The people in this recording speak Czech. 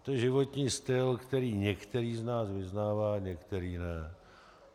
To je životní styl, který některý z nás vyznává, některý ne.